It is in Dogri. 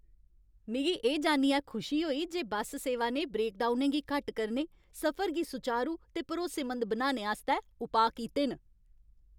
मिगी एह् जान्नियै खुशी होई जे बस सेवा ने ब्रेकडाउनें गी घट्ट करने, सफर गी सुचारू ते भरोसेमंद बनाने आस्तै उपाऽ कीते न।